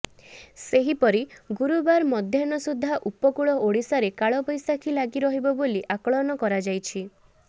ସେହିପରି ଗୁରୁବାର ମଧ୍ୟାହ୍ନ ସୁଦ୍ଧା ଉପକୂଳ ଓଡ଼ିଶାରେ କାଳବୈଶାଖୀ ଲାଗି ରହିବ ବୋଲି ଆକଳନ କରାଯାଇଛି